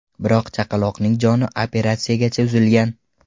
Biroq chaqaloqning joni operatsiyagacha uzilgan.